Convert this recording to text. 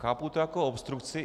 Chápu to jako obstrukci.